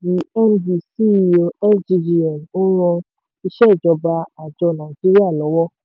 md/ceo sggn n ran isẹ́jọba àjọ nàìjíríà lọ́wọ́.